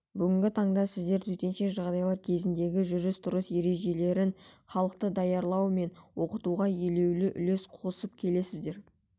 бүгінгі таңда сіздер төтенше жағдайлар кезіндегі жүріс-тұрыс ережелеріне халықты даярлау мен оқытуға елеулі үлес қосып келесіздер